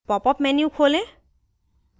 popअप menu खोलें